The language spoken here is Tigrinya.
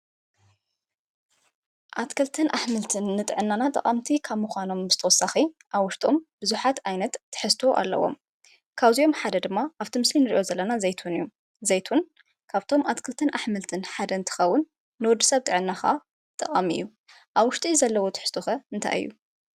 ኣትክልትን ኣሕምልትን ንጥዕናና ጠቃምቲ ከም ብተወሳኪ ኣብ ውሽጡ ቡዙሓት ዓይነት ትሕዝቶ ኣለዎም፡፡ ካብዚኦም ሓደ ድማ ኣብቲ ምስሊ እንሪኦ ዘለና ድማ ዘይትሁን እዩ፡፡ ዘይትሁን ካብ እቶም ኣትክልትን ኣሕምልትን ሓደ እንትከውን ንወዲ ሰብ ጥዕና ድማ ጠቀሚ እዩ፡፡ ኣብ ውሽጡ ዘለዎ ትሕዝቶ ከ እንታይ እዩ?